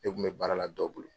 Ne kun bɛ baara la dɔ bolo.